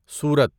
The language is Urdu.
سورت